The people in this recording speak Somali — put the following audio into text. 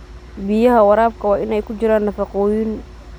Biyaha waraabka waa in ay ku jiraan nafaqooyin.